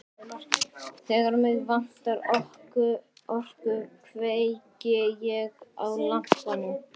Þegar mig vantar orku kveiki ég á lampanum.